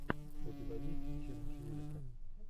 у тебя есть челлендж юлика